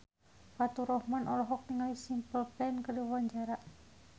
Faturrahman olohok ningali Simple Plan keur diwawancara